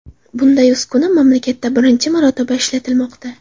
Bunday uskuna mamlakatda birinchi marotaba ishlatilmoqda.